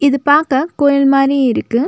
இது பாக்க கோயில் மாரி இருக்கு.